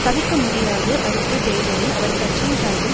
தவிர்க்க முடியாது அடுத்த தேர்தலில் அவர் கட்சியின் சார்பில்